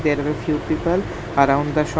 There were few people around the sho--